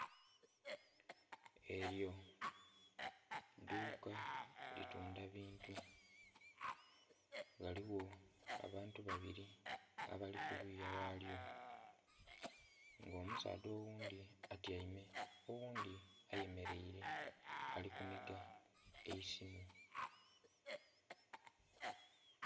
Elyo idhuuka litundha bintu, ghaligho abantu babiri abali kuluya ghalyo nga omusaadha oghundhi atyaime oghundhi aye mereire ali kunhiga eisimu.